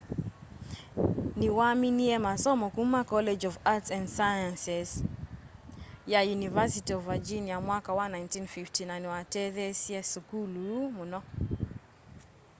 niwaminie masomo kuma college of arts and sciences ya university of virginia mwaka wa 1950 na niwatetheeasya sukulu ũu mũno